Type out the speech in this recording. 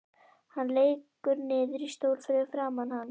Hann lekur niður í stól fyrir framan hana.